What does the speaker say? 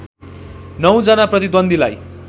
नौ जना प्रतिद्वन्द्वीलाई